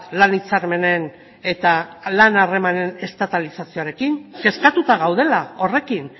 lan hitzarmenen eta lan harremanen estatalizazioarekin kezkatuta gaudela horrekin